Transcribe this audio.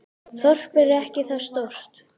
Þorpið er ekki svo stórt.